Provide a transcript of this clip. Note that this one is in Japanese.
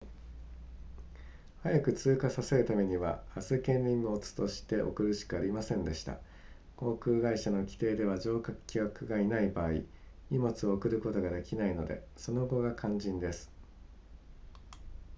早く通過させるためには預け荷物として送るしかありませんでした航空会社の規定では乗客がいない場合荷物を送ることができないのでその後が肝心です